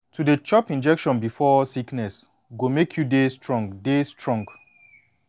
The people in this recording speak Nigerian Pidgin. to dey chop injection before sickness go make you dey strong dey strong